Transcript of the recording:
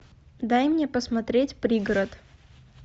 дай мне посмотреть пригород